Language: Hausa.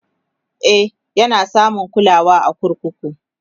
e Yana samun kulawa a kurkuku